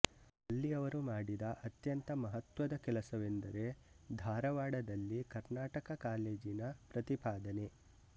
ಅಲ್ಲಿ ಅವರು ಮಾಡಿದ ಅತ್ಯಂತ ಮಹತ್ವದ ಕೆಲಸವೆಂದರೆ ಧಾರವಾಡದಲ್ಲಿ ಕರ್ನಾಟಕ ಕಾಲೇಜಿನ ಪ್ರತಿಪಾದನೆ